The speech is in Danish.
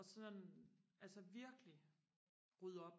og sådan altså virkelig rydde op